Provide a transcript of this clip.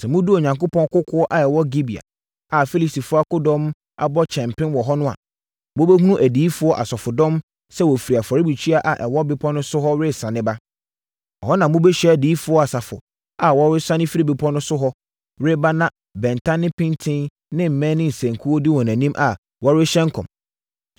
“Na sɛ moduru Onyankopɔn kokoɔ a ɛwɔ Gibea a Filistifoɔ akodɔm abɔ kyɛmpem wɔ hɔ no a, mobɛhunu adiyifoɔ asafodɔm sɛ wɔfiri afɔrebukyia a ɛwɔ bepɔ no so hɔ resiane ba. Ɛhɔ na mobɛhyia adiyifoɔ asafo a wɔresiane firi bepɔ no so hɔ reba na bɛnta ne mpintin ne mmɛn ne nsankuo di wɔn anim a wɔrehyɛ nkɔm.